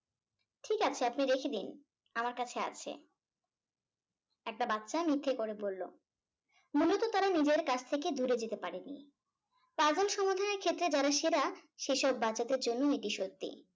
ঠিক আছে আপনি রেখে দিন আমার কাছে আছে। একটা বাচ্চা মিথ্যে করে বলল। মূলত তারা নিজের কাছ থেকে দূরে যেতে পারেনি। puzzle সমাধানের ক্ষেত্রে যারা সেরা সেসব বাচ্চাদের জন্যেও এটি সত্যি।